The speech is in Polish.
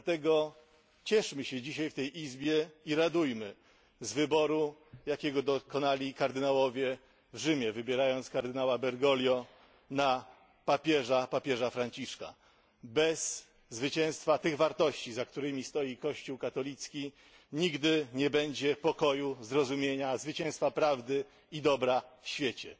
Dlatego cieszmy się dzisiaj w tej Izbie i radujmy z wyboru, jakiego dokonali kardynałowie w Rzymie, wybierając kardynała Bergoglio na papieża Franciszka. Bez zwycięstwa tych wartości, za którymi stoi Kościół katolicki, nigdy nie będzie pokoju, zrozumienia, zwycięstwa prawdy i dobra w świecie.